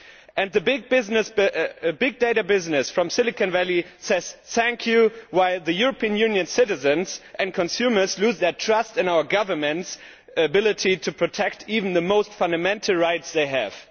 And the big data business from Silicon Valley says Thank youʼ, while the European Unions' citizens and consumers lose their trust in our governments' ability to protect even the most fundamental rights they have.